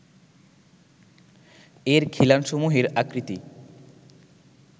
এর খিলানসমূহের আকৃতি